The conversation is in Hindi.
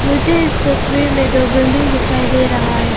मुझे इस तस्वीर में दो बिल्डिंग दिखाई दे रहा है।